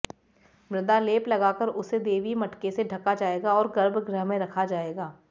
मृदा लेप लगाकर उसे दैवीय मटके से ढका जाएगा और गर्भ गृह में रखा जाएगा